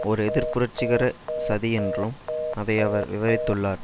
ஒரு எதிர் புரட்சிகர சதி என்றும் அதை அவர் விவரித்துள்ளார்